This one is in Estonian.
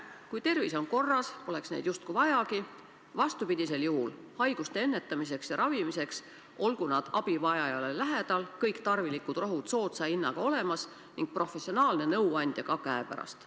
Kui tervis on korras, poleks neid justkui vajagi, vastupidisel juhul, haiguste ennetamiseks ja ravimiseks olgu nad abivajajale lähedal, kõik tarvilikud rohud soodsa hinnaga olemas ning professionaalne nõuandja ka käepärast.